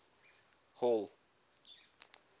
hall